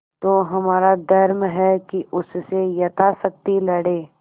तो हमारा धर्म है कि उससे यथाशक्ति लड़ें